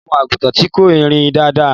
Ọmọ àgùntan ti kọ́ ìrìn dáadáa.